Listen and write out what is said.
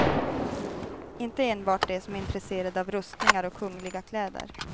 Inte enbart de som är intresserade av rustningar och kungliga kläder.